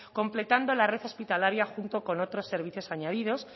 completando la red hospitalaria junto con otros servicios añadidos